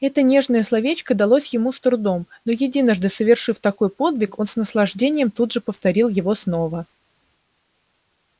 это нежное словечко далось ему с трудом но единожды совершив такой подвиг он с наслаждением тут же повторил его снова